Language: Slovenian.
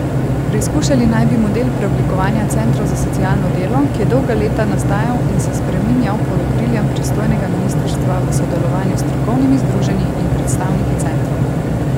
Preizkušali naj bi model preoblikovanja centrov za socialno delo, ki je dolga leta nastajal in se spreminjal pod okriljem pristojnega ministrstva v sodelovanju s strokovnimi združenji in predstavniki centrov.